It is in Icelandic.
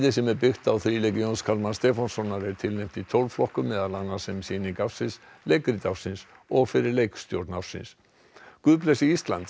sem er byggt á Jóns Kalmans Stefánssonar er tilnefnt í tólf flokkum meðal annars sem sýning ársins leikrit ársins og fyrir leikstjórn ársins guð blessi Ísland